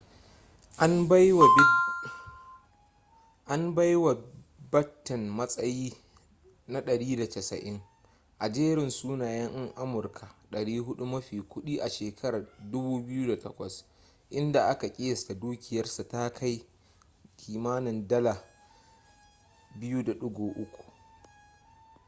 an bai wa batten matsayi na 190 a jerin sunayen yan amurka 400 mafi kudi a shekarar 2008 inda aka kiyasta dukiyarsa ta kai biliyan $2.3